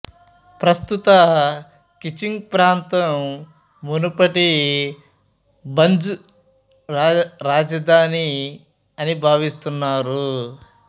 ప్రస్తుత ఖిచింగ్ ప్రాంతం మునుపటి భంజ్ రాజధాని అని భావిస్తున్నారు